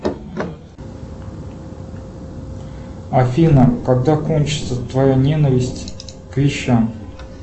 афина когда кончится твоя ненависть к вещам